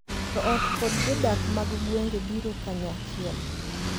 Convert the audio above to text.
Jo ot kod jodak mag gwenge biro kanyachiel,